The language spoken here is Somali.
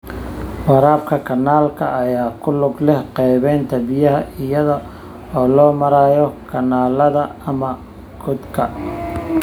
Waraabka kanaalka ayaa ku lug leh qaybinta biyaha iyada oo loo marayo kanaalada ama godadka.